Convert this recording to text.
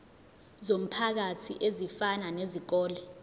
zomphakathi ezifana nezikole